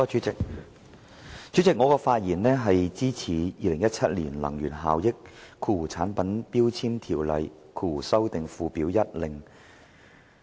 主席，我發言支持《2017年能源效益條例令》。